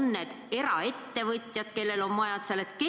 On need eraettevõtjad, kellel on majad seal?